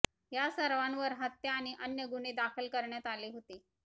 या सर्वांवर हत्या आणि अन्य गुन्हे दाखल करण्यात आले होते